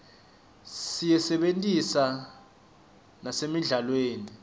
siyisebentisa nasemidlalweni